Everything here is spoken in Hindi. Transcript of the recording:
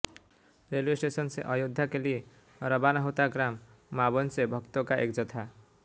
रेलवे स्टेशन से अयोध्या के लिए रवाना होता ग्राम मावन से भक्तों का एक जत्था